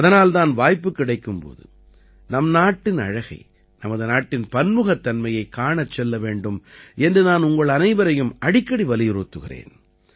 அதனால்தான் வாய்ப்பு கிடைக்கும்போது நம் நாட்டின் அழகை நமது நாட்டின் பன்முகத்தன்மையைக் காணச் செல்ல வேண்டும் என்று நான் உங்கள் அனைவரையும் அடிக்கடி வலியுறுத்துகிறேன்